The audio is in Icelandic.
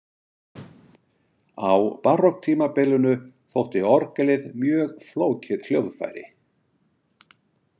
Á barokktímabilinu þótti orgelið mjög flókið hljóðfæri.